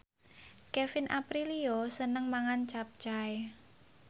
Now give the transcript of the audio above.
Kevin Aprilio seneng mangan capcay